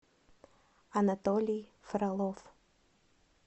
анатолий фролов